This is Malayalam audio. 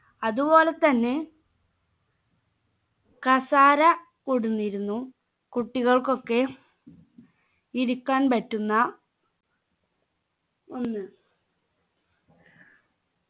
അതുപോലെ തന്നെ കസാര കൊണ്ടന്നിരുന്നു കുട്ടികൾക്കൊക്കെ ഇരിക്കാൻ പറ്റുന്ന ഒന്ന്